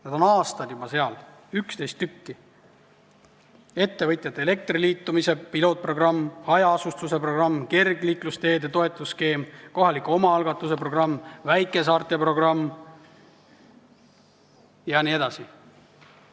Neid on juba aastaid olnud 11 tükki: ettevõtjate elektriliitumise pilootprogramm, hajaasustuse programm, kergliiklusteede toetusskeem, kohaliku omaalgatuse programm, väikesaarte programm jne.